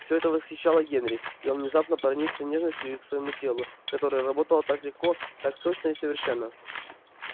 всё это восхищало генри и он внезапно проникся нежностью и к своему телу которое работало так легко так точно и совершенно